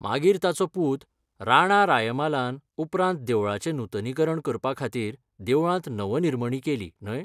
मागीर ताचो पूत, राणा रायमालान उपरांत देवळाचें नुतनीकरण करपा खातीर देवळांत नवनिर्मणी केली, न्हय?